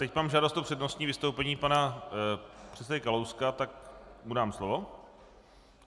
Teď mám žádost o přednostní vystoupení pana předsedy Kalouska, tak mu dám slovo.